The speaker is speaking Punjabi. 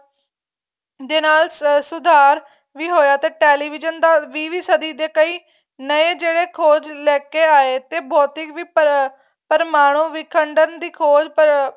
ਦੇ ਨਾਲ ਸੁਧਾਰ ਵੀ ਹੋਇਆ ਤੇ television ਦਾ ਵੀਹਵੀਂ ਸਦੀਂ ਦੇ ਕਈ ਨਹੇ ਜਿਹੜੇ ਖ਼ੋਜ ਲੈਕੇ ਆਏ ਤੇ ਭੋਧਿਕ ਪਰਮਾਣੂ ਵਿਖੰਡਨ ਦੀ ਖ਼ੋਜ